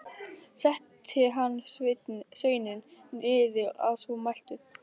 Setti hann sveininn niður að svo mæltu.